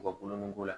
U ka kulon ni ko la